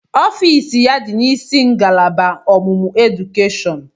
Ọfịs ya dị n'isi ngalaba ọmụmụ edukeshọn.